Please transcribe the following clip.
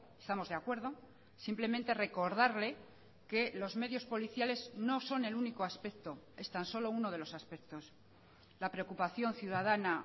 estamos de acuerdo simplemente recordarle que los medios policiales no son el único aspecto es tan solo uno de los aspectos la preocupación ciudadana